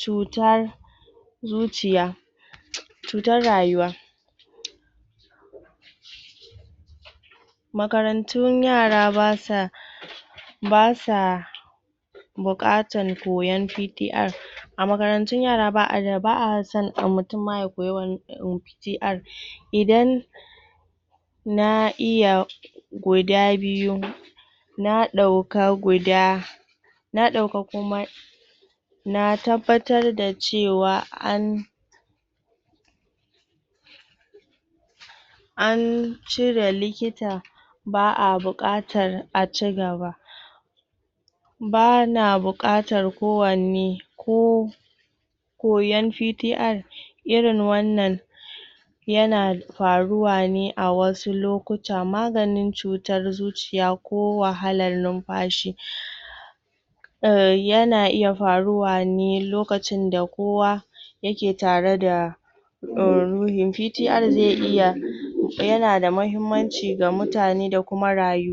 cutar zuciya cutar rayuwa makarantun yara ba sa ba sa buƙatan koyon PTR a makarantun yara ba a da ba a mutum ma ya koyi wani PTR idan na iya guda biyu na ɗauka guda na ɗauka kuma na tabbatar da cewa an an cire likita ba a buƙatar a ci gaba ba na buƙatar kowane ko koyon PTR irin wannan yana yana faruwa ne a wasu lokuta maganin cutar zuciya ko wahalar numfashi yana iya faruwa ne lokacin da kowa yake tare da em ruhin PTR zai iya